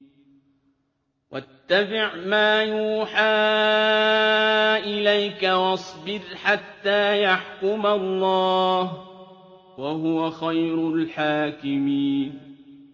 وَاتَّبِعْ مَا يُوحَىٰ إِلَيْكَ وَاصْبِرْ حَتَّىٰ يَحْكُمَ اللَّهُ ۚ وَهُوَ خَيْرُ الْحَاكِمِينَ